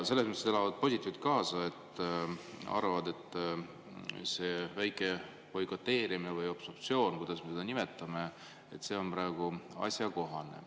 Nad elavad positiivselt kaasa ja arvavad, et see väike boikoteerimine või obstruktsioon – kuidas me seda siis nimetame – on praegu asjakohane.